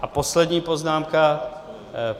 A poslední poznámka.